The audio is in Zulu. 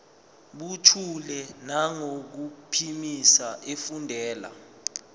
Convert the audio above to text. buthule nangokuphimisa efundela